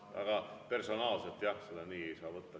Aga personaalselt jah, seda nii ei saa võtta.